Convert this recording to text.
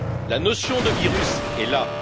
La notion de virus est là.